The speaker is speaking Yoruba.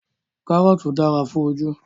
Karọọti dara fun oju